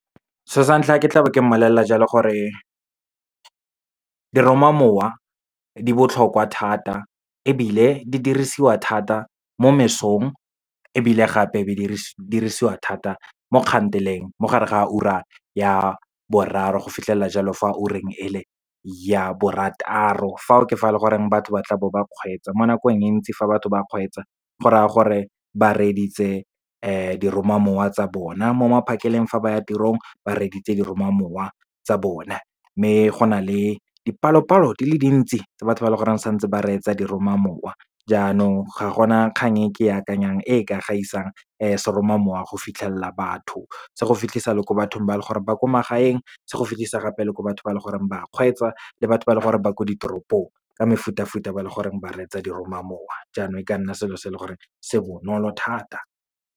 So sa ntlha, ke tlabe ke mmolelela jalo gore diromamowa di botlhokwa thata, ebile di dirisiwa thata mo mesong, ebile gape be di dirisiwa thata mo kganteleng, mo gare ga ura ya boraro, go fitlhelela jalo fo ureng e le ya borataro. Fao ke fa goreng batho ba tla bo ba kgweetsa mo nakong e ntsi. Fa batho ba kgweetsa, go raya gore ba reeditse diromamowa tsa bona. Mo maphakeleng fa ba ya tirong, ba reeditse diromamowa tsa bona. Mme go na le dipalopalo di le dintsi, tse batho ba leng gore ba santse ba reetsa diromamowa, jaanong ga gona kgang e ke akanyang e ka gaisang seromamowa go fitlhelela batho. Se go fitlhisa le ko bathong ba e leng gore ba kwa magaeng, se go fitlhisa gape le gore batho ba le gore ba kgweetsa, le batho ba leng gore ba ko ditoropong, ka mefutafuta ba leng gore ba reetsa seromamowa. Jaanong, e ka nna selo se leng gore se bonolo thata.